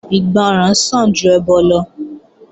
Ìgbọràn sàn ju ẹbọ lọ